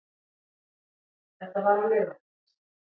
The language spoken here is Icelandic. Þetta var á laugardags